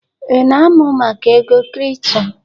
Ị na-amụ maka ego kripto?